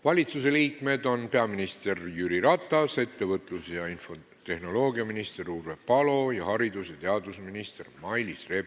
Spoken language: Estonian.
Valitsusliikmetest on kohal peaminister Jüri Ratas, ettevõtlus- ja infotehnoloogiaminister Urve Palo ning haridus- ja teadusminister Mailis Reps.